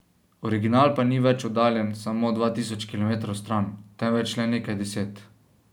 Original pa ni več oddaljen samo dva tisoč kilometrov stran, temveč le nekaj deset.